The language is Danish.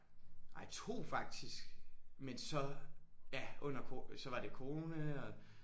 Ej 2 faktisk men så ja under ko så var det corona og